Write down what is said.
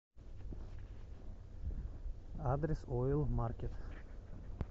адрес ойл маркет